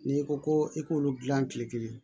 N'i ko ko i k'olu dilan kile kelen